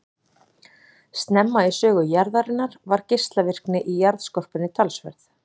Snemma í sögu jarðarinnar var geislavirkni í jarðskorpunni talsverð.